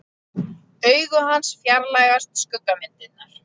Augu hans fjarlægjast skuggamyndirnar.